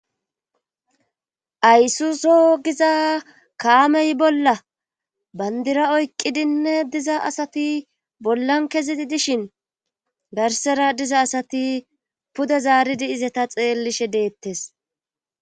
aysuso giza kaamey bolla bandira oyqqidinne diza asati bollan kezii dishin garsera diza asati puda zaaridi izata xeellishe deettes